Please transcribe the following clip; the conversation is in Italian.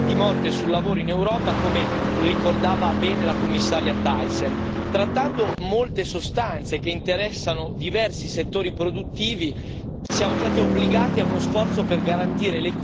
Trattando molte sostanze che interessano diversi settori produttivi, siamo stati obbligati a uno sforzo per garantire l'equilibrio dei vari interessi in gioco, a partire ovviamente dalla salute dei lavoratori.